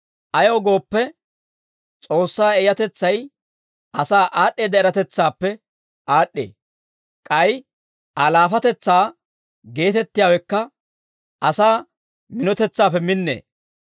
Ayaw gooppe, S'oossaa eeyatetsay asaa aad'd'eedda eratetsaappe aad'd'ee; k'ay Aa laafatetsaa geetettiyaawekka asaa minotetsaappe minnee.